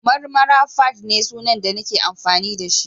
Marmara_fadd ne sunan da nake amfani da shi